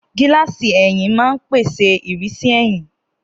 Gíláàsì ẹ̀yìn máa ń pèsè ìrísí ẹ̀yìn.